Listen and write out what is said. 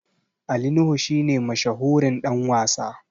Ali nuhu shi ne mashahurin Dan wasa